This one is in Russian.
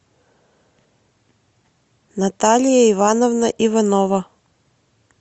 наталья ивановна иванова